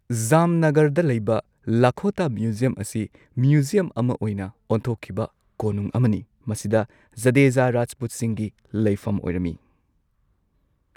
ꯖꯥꯝꯅꯒꯔꯗ ꯂꯩꯕ ꯂꯈꯣꯇꯥ ꯃ꯭ꯌꯨꯖꯤꯌꯝ ꯑꯁꯤ ꯃ꯭ꯌꯨꯖꯤꯌꯝ ꯑꯃ ꯑꯣꯏꯅ ꯑꯣꯟꯊꯣꯛꯈꯤꯕ ꯀꯣꯅꯨꯡ ꯑꯃꯅꯤ, ꯃꯁꯤꯗ ꯖꯗꯦꯖꯥ ꯔꯥꯖꯄꯨꯠꯁꯤꯡꯒꯤ ꯂꯩꯐꯝ ꯑꯣꯏꯔꯝꯏ꯫